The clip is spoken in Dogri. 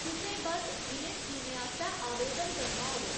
तुसें बस्स इ'नें स्कीमें आस्तै आवेदन करना होग।